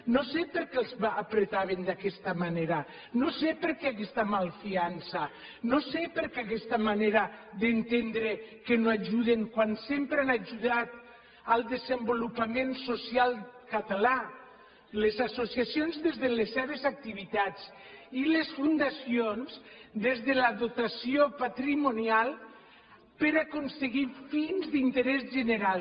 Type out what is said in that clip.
no sé per què els apretaven d’aquesta manera no sé per què aquesta malfiança no sé per què aquesta manera d’entendre que no ajuden quan sempre han ajudat al desenvolupament social català les associacions des de les seves activitats i les fundacions des de la dotació patrimonial per aconseguir fins d’interès general